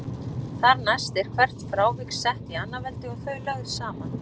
Þar næst er hvert frávik sett í annað veldi og þau lögð saman.